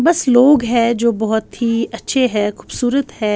بس لوگ ہیں جو بہت ہی اچھے ہیں۔ خوبصورت ہیں۔